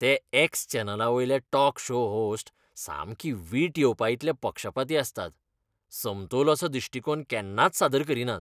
ते एक्स चॅनलावयले talk show host सामकी वीट येवपाइतले पक्षपाती आसतात. समतोल असो दिश्टीकोण केन्नाच सादर करीनात.